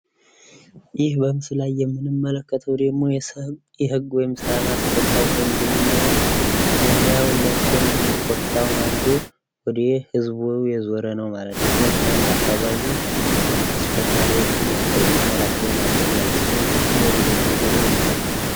ይህ በምስሉ ላይ የምንመለከተው ደሞ ፣ የህግ ወይም ሰላም አስከባሪ ሰው እንደምናየው መለያዉን ለብሶ እንዲሁም ኮፊታዉን አርጎ ወደ ህዝቡ የዞረ ነው ማለት ነው ፤ መኪናም በአከባቢው በርካታ ተሽከርካሪዎች መኖራቸውን ያስያል ፤ እሱም ፊቱን ወደ ህዝቡ ዙሮ ያሳያል ማለት ነው።